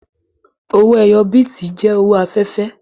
Owó ẹyọ bíìtì jẹ́ owó afẹ́fẹ́